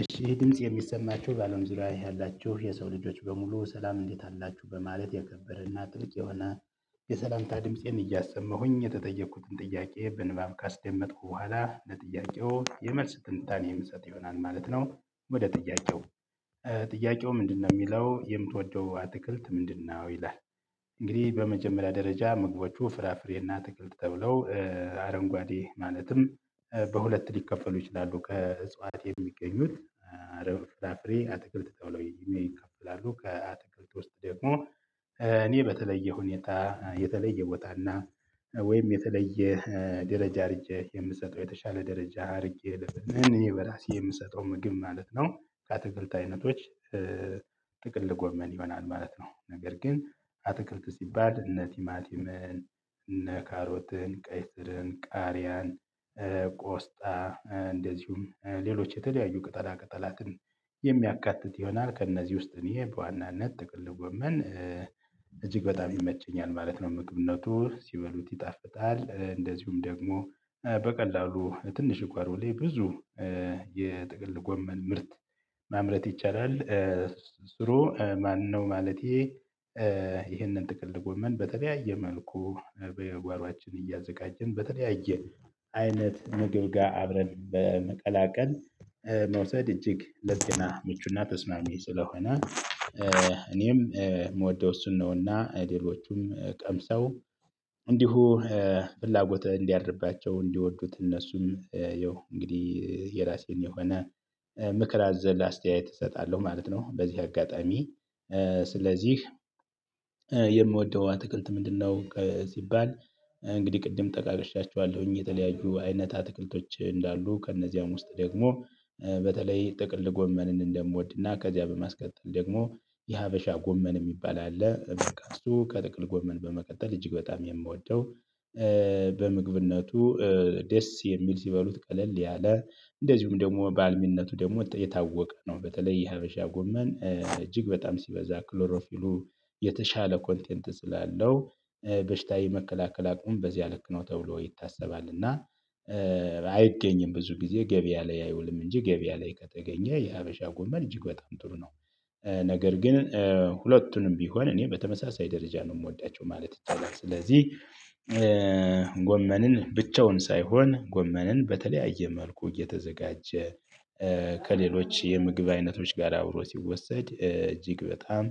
እሺ ይሄ ድምጽ የሚሰማቹ ባለው ዙሪያ ያላችሁ የሰው ልጆች በሙሉ ሰላም እንዴት አላችሁ በማለት የከበረና ጥብቅ የሆነ የሰላምታ ድምፄን እያሰመሁኝ የተጠየኩትን ጥያቄ በንባብ ካስደመጥኩ በኋላ ለጥያቄው የመልስ ጥንታኔ ምሰጥ ይሆናል ማለት ነው። ወደ ጥያቄው ጥያቄው ምንድነው የሚለው የምትወደው አትክልት ምንድነው ይላል? እንግዲህ በመጀመሪያ ደረጃ ምግቦቹ ፍራፍሬና አትክልት ተብለው አረንጓዴ ማለትም በሁለት ሊከፈሉ ይችላሉ ከእጽዋት የሚገኙት አረብ ፍራፍሬ አትክልት ተብለው ይከፈላሉ። ከአትክልት ውስጥ ደግሞ እኔ በተለየ ሁኔታ የተለየ ቦታና ወይም የተለየ ደረጃ አድርጌ የምሰጠው የተሻለ ደረጃ አድርጌ ልብ እኔ በራሴ የምሰጠው ምግብ ማለት ነው። ከአትክልት አይነቶች ጥቅል ጎመን ይሆናል ማለት ነው። ነገር ግን አትክልት ሲባል እነ ቲማቲምን እነ ካሮትን ቀይ ስርን ቃሪያን ቆስጣ እንደዚሁም ሌሎች የተለያዩ ቅጠላ ቅጠላትን የሚያካትት ይሆናል። ከእነዚህ ውስጥ እኔ በዋናነት ጥቅል ጎመን እጅግ በጣም ይመቸኛል ማለት ነው። ምግብነቱ ሲበሉት ይጣፍጣል እንደዚሁም ደግሞ በቀላሉ ትንሽ እኮሮሌ ብዙ የጥቅል ጎመን ምርት ማምረት ይቻላል። ስሩ ማነው ማለቴ ይህንን ጥቅል ጎመን በተለያየ መልኩ በጓሮአችን እያዘጋጀን በተለያየ አይነት ምግብ ጋር አብረን በመቀላቀል መውሰድ እጅግ ለጤና ምቹና ተስማሚ ስለሆነ። እኔም የምወደው እሱን ነውና ሌሎቹም ቀምሰው እንዲሁ ፍላጎት እንዲያድርባቸው እንዲወዱት እነሱም ያው እንግዲህ የራሴን የሆነ ምክር አዘል አስተያየት እሰጣለሁ ማለት ነው። በዚህ አጋጣሚ ስለዚህ የምወደው አትክልት ምንድነው? ሲባል እንግዲህ ቅድም ጠቃቅሻቸኋለሁኝ የተለያዩ አይነት አትክልቶች እንዳሉ ከእነዚያም ውስጥ ደግሞ በተለይ ጥቅል ጎመንን እንደምወድና ከዚያ በማስቀጠል ደግሞ የሀበሻ ጎመን የሚባል አለ እሱ ከጥቅል ጎመን በመቀጠል እጅግ በጣም የምወደው በምግብነቱ ደስ የሚል ሲበሉት ቀለል ያለ እንደዚሁም ደግሞ ባልሚነቱ ደግሞ የታወቀ ነው። በተለይ የሀበሻ ጎመን እጅግ በጣም ሲበዛ ክሎሮፊሉ የተሻለ ኮንቴንት ስላለው በሽታ የመከላከል አቅሙ በዚያ ልክ ነው ተብሎ ይታሰባል። እና አይገኝም ብዙ ጊዜ ገበያ ላይ አይውልም እንጂ ገበያ ላይ ከተገኘ የሀበሻ ጎመር እጅግ በጣም ጥሩ ነው። ነገር ግን ሁለቱንም ቢሆን እኔ በተመሳሳይ ደረጃ ነው የምወዳቸው ማለት ይቻላል። ስለዚህ ጎመንን ብቻውን ሳይሆን ጎመንን በተለያየ መልኩ እየተዘጋጀ ከሌሎች የምግብ አይነቶች ጋር አብሮ ሲወሰድ እጅግ በጣም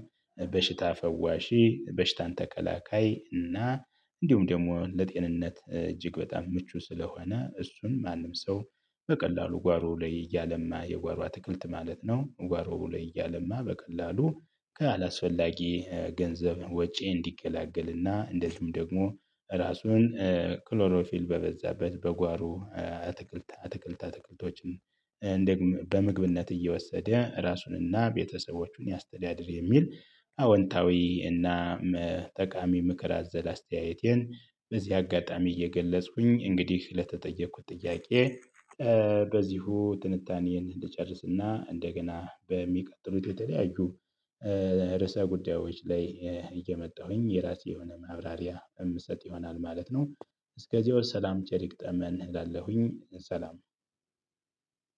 በሽታ ፈዋሺ በሽታን ተከላካይ እና እንዲሁም ደግሞ ለጤንነት እጅግ በጣም ምቹ ስለሆነ እሱን ማንም ሰው በቀላሉ ጓሮ ላይ እያለማ የጓሮ አትክልት ማለት ነው። ጓሮ ላይ እያለማ በቀላሉ አላስፈላጊ ገንዘብ ወጪ እንዲገላገልና እንደዚሁም ደግሞ ራሱን ክሎሮፊል በበዛበት በጓሮ አትክልት አትክልት አትክልቶችን በምግብነት እየወሰደ ራሱንና ቤተሰቦቹን ያስተዳድር የሚል አወንታዊ እና ጠቃሚ ምክር አዘል አስተያየቴን። በዚህ አጋጣሚ እየገለጽኩኝ እንግዲህ ለተጠየኩት ጥያቄ በዚሁ ትንታኔን ልጨርስና እንደገና በሚቀጥሉት የተለያዩ ርዕሰ ጉዳዮች ላይ እየመጣሁኝ የራሴ የሆነ ማብራሪያ የምሰጥ ይሆናል ማለት ነው። እስከዚያው ሰላም ቸር ይግጠመን እላለሁኝ ሰላም።